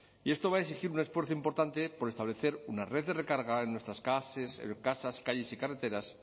y esto va a exigir un esfuerzo importante por establecer una red de recarga en nuestras casas calles y carreteras